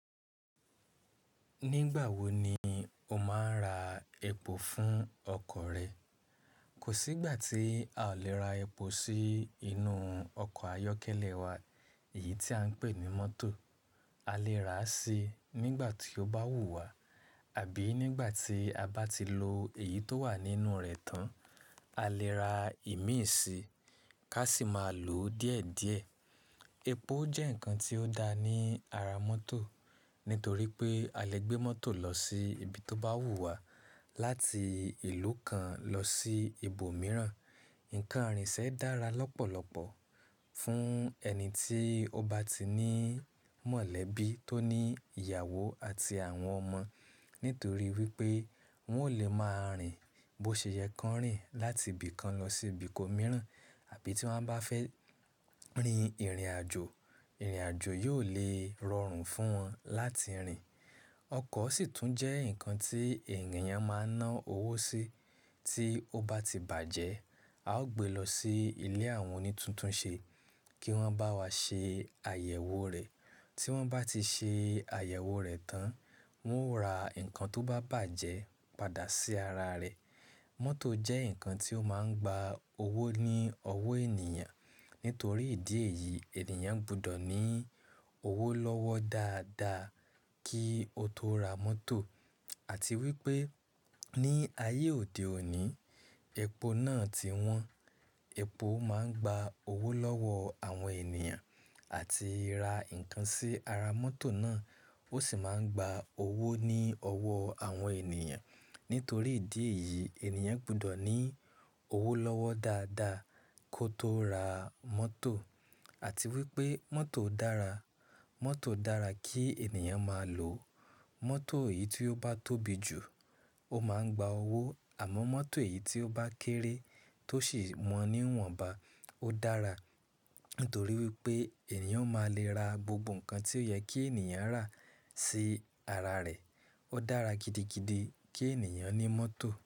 Nígbà wo ni o máa ń ra epo fún ọkọ̀ rẹ? Kò sí ìgbà tí a ò le ra epo sí inú ọkọ̀ ayọ́kẹ́lẹ́ wa, èyí tí à ń pè ní mọ́tò. A lè rà á sí i nígbà tí ó bá wù wá àbí nígbà tí a bá ti lo èyí tó wà nínú rẹ̀ tán. A lè ra ìmíi sí i ká sì máa lò ó díẹ̀ díẹ̀. Epo jẹ́ nǹkan tí ó dáa ní ara mọ́tò nítorí pé a lè gbé mọ́tò lọ sí ibi tó bá wù wá, láti ìlú kan lọ sí ibo mìíràn. Ǹkan rìn ṣe dára lọ́pọ̀lọpọ̀ fún ẹni tí ó bá ti ní mọ̀lẹ́bí, tó ní ìyàwó àti àwọn ọmọ nítorí wípé wọn ò lè máa rìn bó ṣe yẹ kí wọ́n rìn láti ibi kan lọ sí ibìko mìíràn. Àbí tí wọ́n bá fẹ́ rin ìrìnàjò, ìrìnàjò yóò lè rọrùn fún wọn láti rìn. Ọkọ̀ sì tún jẹ́ nǹkan tí ènìyàn máa ń ná owó sí. Tí ó bá ti bàjẹ́, a ó gbé lọ sí ilé àwọn oní tuntun ṣe kí wọ́n bá wa ṣe àyẹ̀wò rẹ̀. Tí wọ́n bá ti ṣe àyẹ̀wò rẹ̀ tán, wọ́n ó ra nǹkan tó bá bàjẹ́ padà sí ara rẹ̀. Mọ́tò jẹ́ nǹkan tí ó máa ń gba owó ní ọwó ènìyàn. Nítorí ìdí èyí, ènìyàn gbọdọ̀ ní owó lọ́wọ́ dáadáa kí ó tó ra mọ́tò. Àti wípé ní ayé òde òní, epo náà ti wọ́n. Epo máa ń gba owó lọ́wọ́ àwọn ènìyàn àti ra nǹkan sí ara mọ́tò náà. Ó sì máa ń gba owó ní ọwó àwọn ènìyàn. Nítorí ìdí èyí, ènìyàn gbọdọ̀ ní owó lọ́wọ́ dáadáa kó tó ra mọ́tò. Àti wípé mọ́tò dára. Mọ́tò dára kí ènìyàn máa lò. Mọ́tò èyí tí ó bá tóbi jù ó máa ń gba owó àmọ́ mọ́tò èyí tí ó bá kéré tó sì mọ ní wọ̀nba ó dára. Nítorí wípé ènìyàn ó máa lè ra gbogbo nǹkan tí ó yẹ kí ènìyàn rà sí ara rẹ̀. Ó dára gidigidi kí ènìyàn ní mọ́tò.